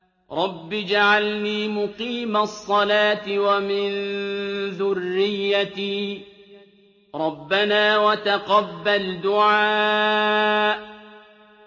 رَبِّ اجْعَلْنِي مُقِيمَ الصَّلَاةِ وَمِن ذُرِّيَّتِي ۚ رَبَّنَا وَتَقَبَّلْ دُعَاءِ